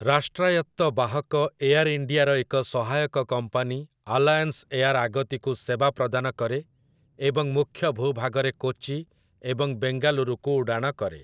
ରାଷ୍ଟ୍ରାୟତ୍ତ ବାହକ ଏୟାର୍ ଇଣ୍ଡିଆର ଏକ ସହାୟକ କମ୍ପାନୀ ଆଲାୟନ୍‌ସ ଏୟାର୍ ଆଗତିକୁ ସେବା ପ୍ରଦାନ କରେ ଏବଂ ମୁଖ୍ୟ ଭୂଭାଗରେ କୋଚି ଏବଂ ବେଙ୍ଗାଲୁରୁକୁ ଉଡ଼ାଣ କରେ ।